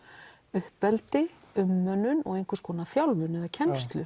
uppeldi umönnun og einhvers konar þjálfun eða kennslu